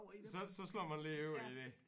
Så så slår man lige over i det